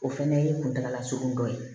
O fɛnɛ ye kuntala surun dɔ ye